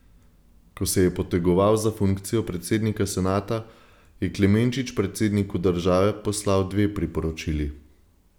Ko se je potegoval za funkcijo predsednika senata, je Klemenčič predsedniku države poslal dve priporočili.